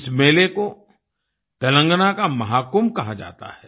इस मेले को तेलंगाना का महाकुम्भ कहा जाता है